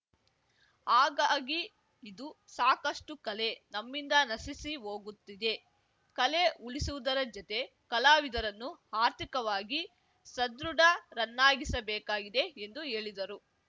ಹಾಗಾಗಿ ಇದು ಸಾಕಷ್ಟುಕಲೆ ನಮ್ಮಿಂದ ನಶಿಸಿ ಹೋಗುತ್ತಿದೆ ಕಲೆ ಉಳಿಸುವುದರ ಜತೆ ಕಲಾವಿದರನ್ನು ಆರ್ಥಿಕವಾಗಿ ಸಧೃಢರನ್ನಾಗಿಸಬೇಕಾಗಿದೆ ಎಂದು ಹೇಳಿದರು